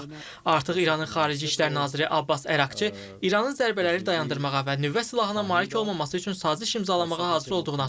Artıq İranın xarici işlər naziri Abbas Əraqçı İranın zərbələri dayandırmağa və nüvə silahına malik olmaması üçün saziş imzalamağa hazır olduğunu açıqlayıb.